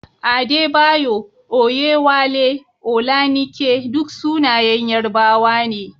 Adebayo, Oyewale, Olanike duk sunayen Yarbawa ne.